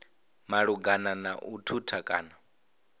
malugana na u thutha kana